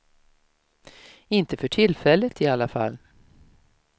Inte för tillfället i alla fall.